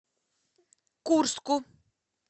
курску